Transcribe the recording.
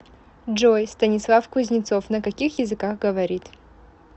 джой станислав кузнецов на каких языках говорит